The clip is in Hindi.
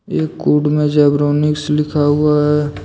एक कुड में जेब्रोनिक्स लिखा हुआ है।